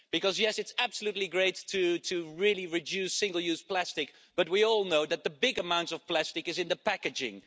Because, yes, it is absolutely great to really reduce single-use plastic, but we all know that the big amounts of plastic are in the packaging.